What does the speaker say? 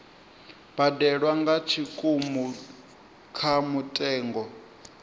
badelwa nga tshikimu kha mutengo